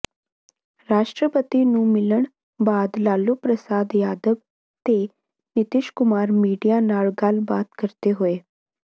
ਰਾਸ਼ਟਰਪਤੀ ਨੂੰ ਮਿਲਣ ਬਾਅਦ ਲਾਲੂ ਪ੍ਰਸਾਦ ਯਾਦਵ ਤੇ ਨਿਤੀਸ਼ ਕੁਮਾਰ ਮੀਡੀਆ ਨਾਲ ਗੱਲਬਾਤ ਕਰਦੇ ਹੋਏ